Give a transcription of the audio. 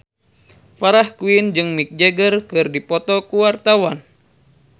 Farah Quinn jeung Mick Jagger keur dipoto ku wartawan